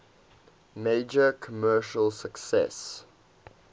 major commercial success